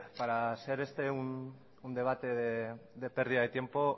para ser este un debate de pérdida de tiempo